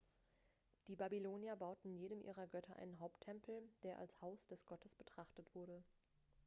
die babylonier bauten jedem ihrer götter einen haupttempel der als haus des gottes betrachtet wurde